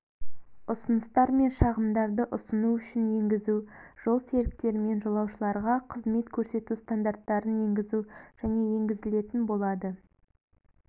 ұсыныстар мен шағымдарды ұсыну үшін енгізу жолсеріктермен жолаушыларға қызмет көрсету стандарттарын енгізу және енгізілетін болады